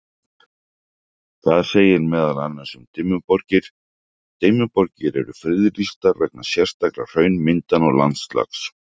Þar segir meðal annars um Dimmuborgir: Dimmuborgir eru friðlýstar vegna sérstakra hraunmyndana og landslags.